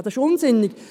Das ist unsinnig.